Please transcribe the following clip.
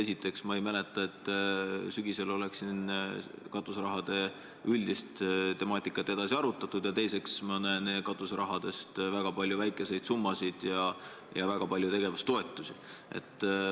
Esiteks, ma ei mäleta, et sügisel oleks siin katuseraha üldist temaatikat edasi arutatud, ja teiseks, ma näen katuseraha seas väga palju väikeseid summasid ja väga palju tegevustoetusi.